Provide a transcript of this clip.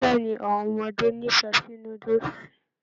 Bẹẹni, awọn ọmọdé n'ifẹ sí núdúsí.